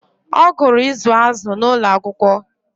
ọ gụrụ izu azụ̀ n'ụlọ akwụkwọ